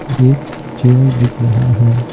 एक चेयर दिख रहा है।